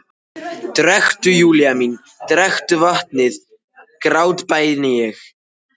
Drekktu, Júlía mín, drekktu vatnið, grátbæni ég.